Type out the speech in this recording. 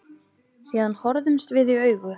Síðan horfðumst við í augu.